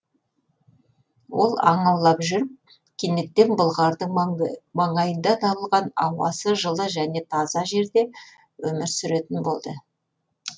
ол аң аулап жүріп кенеттен бұлғардың маңайында табылған ауасы жылы және таза жерде өмір сүретін болды